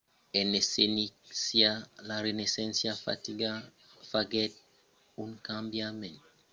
en esséncia la renaissença faguèt un cambiament significatiu dins l'apròchi de l'aprendissatge e la disseminacion del saber